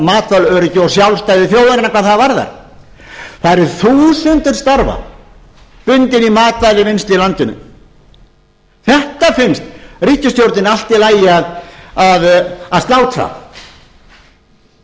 matvælaöryggi og sjálfstæði þjóðarinnar hvað það varðar það eru þúsundir starfa bundin í matvælavinnslu í landinu þetta finnst ríkisstjórninni allt í lagi að